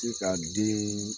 Te ka den